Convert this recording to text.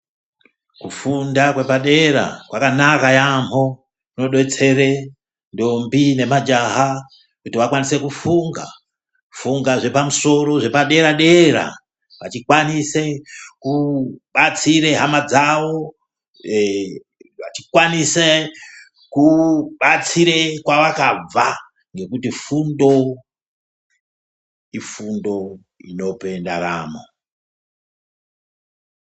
Kufunda kwepadera kwakanaka yamho kunodetsere ndombi nemajaha kuti vakwanise kufunga ,kufunga zvepamusoro zvepaderadera vachikwanise kubatsire hama dzawo ,vachikwanise kubatsire kwavakabva nekuti fundo ifundo inope ndaramo.